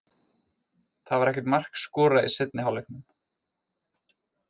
Það var ekkert mark skorað í seinni hálfleiknum.